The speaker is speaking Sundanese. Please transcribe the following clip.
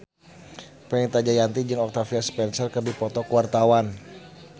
Fenita Jayanti jeung Octavia Spencer keur dipoto ku wartawan